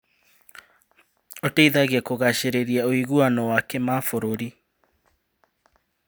Ũteithagia kũgacĩrithia ũiguano wa kĩmabũrũri.